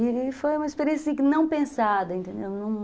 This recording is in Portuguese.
E foi uma experiência, assim, não pensada, entendeu?